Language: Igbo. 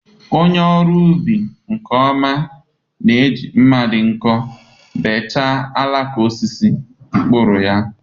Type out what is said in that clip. onye ọrụ ubi nke ọma na-eji mma dị nkọ bechaa alaka osisi mkpụrụ ya.